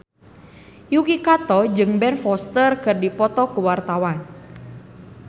Yuki Kato jeung Ben Foster keur dipoto ku wartawan